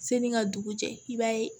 Seni ka dugu jɛ i b'a ye